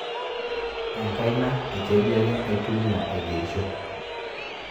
Enkaina e kedianye aitumia aigerisho